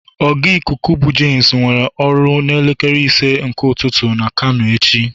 oga Ịkụku bu James nwere a missions n'elekere ise nke ụtụtụ na kano echi.